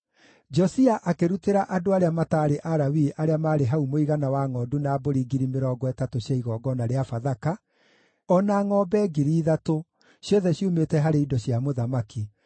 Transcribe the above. Josia akĩrutĩra andũ arĩa mataarĩ Alawii arĩa maarĩ hau mũigana wa ngʼondu na mbũri 30,000 cia igongona rĩa Bathaka, o na ngʼombe 3,000, ciothe ciumĩte harĩ indo cia mũthamaki.